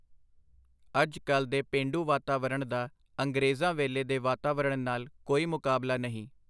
ਅਜ ਕਲ ਦੇ ਪੇਂਡੂ ਵਾਤਾਵਰਣ ਦਾ ਅੰਗਰੇਜ਼ਾਂ ਵੇਲੇ ਦੇ ਵਾਤਾਵਰਣ ਨਾਲ ਕੋਈ ਮੁਕਾਬਲਾ ਨਹੀਂ.